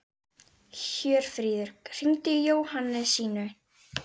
Hjörfríður, hringdu í Jóhannesínu.